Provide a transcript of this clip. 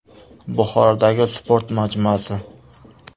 Buxorodagi sport majmuasi.